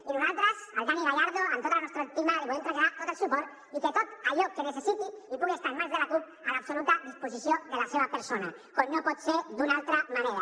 i nosaltres al dani gallardo amb tota la nostra estima li volem traslladar tot el suport i que tot allò que necessiti i pugui estar en mans de la cup a l’absoluta disposició de la seva persona com no pot ser d’una altra manera